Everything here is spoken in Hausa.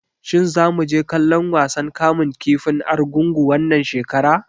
Shin zamu je kallon wasan kamun kifin Argungu wannan shekara?